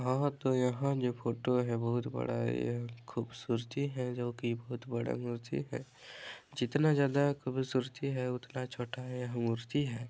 और तो यहाँ जो फोटो है बहुत बड़ा यह खुबसुरती है जो की बहुत बड़ा मुर्ति है जितना ज़्यादा खुबसुरती है उतना छोटा ये मूर्ति है।